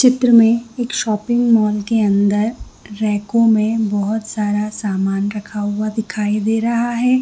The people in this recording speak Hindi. चित्र में एक शोपिंग मॉल के अंदर रैको में बहुत सारा सामान रखा हुआ दिखाई दे रहा है।